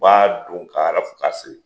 U b'a don k'a arafu k'a siri